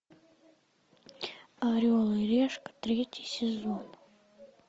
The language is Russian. орел и решка третий сезон